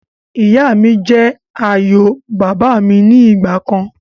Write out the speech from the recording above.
Ìyá mi jẹ́ ààyò bàbà mi ni ìgbàkan